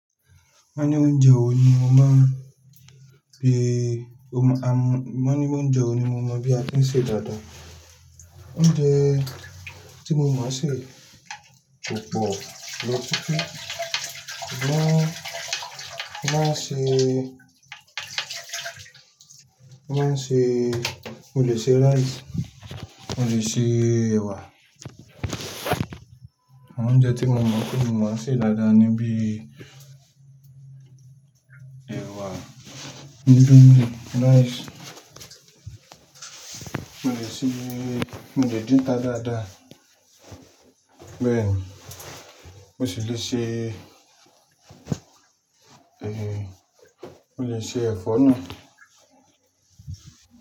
Mo ní onjẹ wo ni mo mọ̀ bi, mo ní onjẹ wo ni mo mọ̀ bí a tin ṣe dáda. Ó ń jẹ tí mo mọ̀ ṣe kòpọ, lọ títí, mo, mo má ṣe, mo má ṣe, mo lè ṣe rice, mo lè ṣe ẹ̀wà. Oúnjẹ tí mo mọ̀ pé mo mọ̀ ṣe dáda ni bí ẹ̀wà, dídùn ni rice. Mo lè ṣe, mo lè dín'ta dáda. Bẹ̀ẹ̀ni, mo ṣi lè ṣe, eh, mo lè ṣe ẹ̀fọ́ ná.